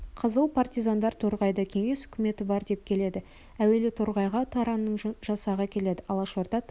қызыл партизандар торғайда кеңес үкіметі бар деп келеді әуелі торғайға таранның жасағы келеді алашорда таран